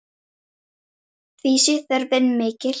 Því sé þörfin mikil.